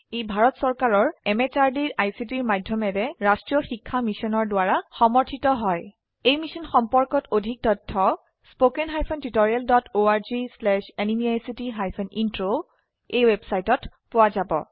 ই ভাৰত চৰকাৰৰ MHRDৰ ICTৰ মাধয়মেৰে ৰাস্ত্ৰীয় শিক্ষা মিছনৰ দ্ৱাৰা সমৰ্থিত হয় এই মিশ্যন সম্পৰ্কত অধিক তথ্য spoken hyphen tutorial dot org slash এনএমইআইচিত হাইফেন ইন্ট্ৰ ৱেবচাইটত পোৱা যাব